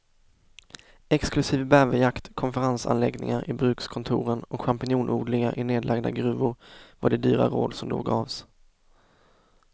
Exklusiv bäverjakt, konferensanläggningar i brukskontoren och champinjonodlingar i nedlagda gruvor var de dyra råd som då gavs.